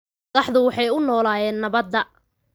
Madaxdu waxay u ololeeyeen nabadda.